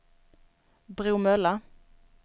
Bromölla